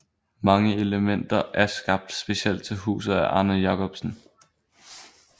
Mange elementer er skabt specielt til huset af Arne Jacobsen